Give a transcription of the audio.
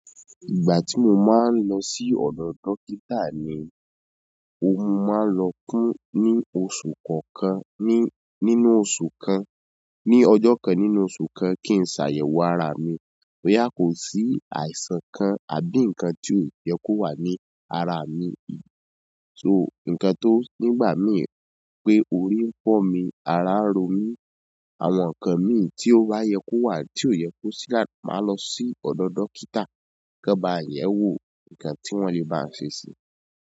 Ìgbà tí mo máa ń lọ sí ọ̀dọ̀ dókítà ni, ó máa ń lọ kún ní oṣù kọ̀ọ̀kan, ní nínú oṣù kan, ní ọjọ́ kan nínú oṣù kan kí n ṣàyẹ̀wò ara mi. Boya ko si àìsàn kan àbí nkan ti o ye ko wan ni ara mi to ǹkan tó nígbà mí pé orí ń fọ́ mi, ara ń ro mí, àwọn nǹkan mí tí ó bá yẹ kó wà tí ò yẹ kó sí, màá lọ sí ọ̀dọ̀ dókítà kí ó ba yẹ̀ wò nǹkan tí wọ́n le bá ṣe sí.